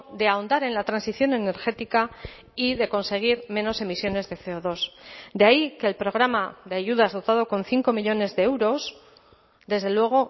de ahondar en la transición energética y de conseguir menos emisiones de ce o dos de ahí que el programa de ayudas dotado con cinco millónes de euros desde luego